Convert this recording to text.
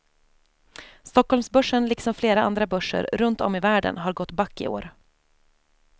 Stockholmsbörsen liksom flera andra börser runt om i världen har gått back i år.